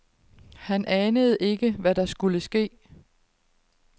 Han anede ikke, hvad der skulle ske.